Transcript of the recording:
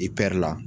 I pɛr la